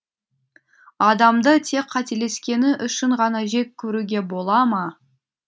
адамды тек қателескені үшін ғана жек көруге бола ма